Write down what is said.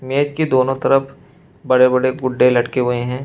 मेज के दोनों तरफ बड़े बड़े गुड्डे लटके के हुए हैं।